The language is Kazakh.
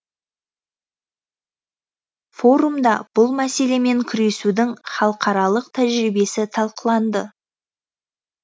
форумда бұл мәселемен күресудің халықаралық тәжірибесі талқыланды